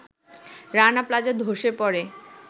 Rana Plaza ধসে পড়ে